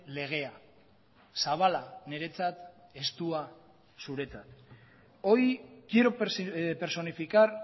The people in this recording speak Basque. legea zabala niretzat estua zuretzat hoy quiero personificar